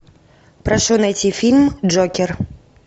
прошу найти фильм джокер